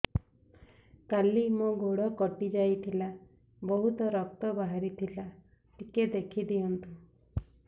କାଲି ମୋ ଗୋଡ଼ କଟି ଯାଇଥିଲା ବହୁତ ରକ୍ତ ବାହାରି ଥିଲା ଟିକେ ଦେଖି ଦିଅନ୍ତୁ